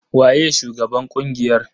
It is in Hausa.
Waye shugaban ƙungiyar?